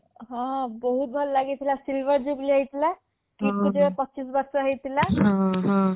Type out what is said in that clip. ହଁ ବହୁତ୍ ଭଲ ଲାଗିଥିଲା silver jubilee ହେଇଥିଲା KIIT କୁ ଯେବେ ପଚିଶ ବର୍ଷ ହେଇଥିଲା